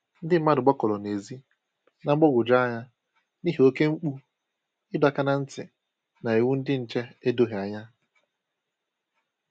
ndị mmadụ gbakọrọ n'ezi, na mgbagwoju anya n'ihi oke mkpu ịdọ áká na ntị na iwu ndị nche edoghi ànyà